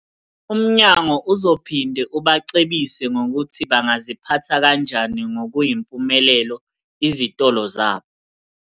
Umnyango uzophinde ubacebise ngokuthi bangaziphatha kanjani ngokuyimpumelelo izitolo zabo.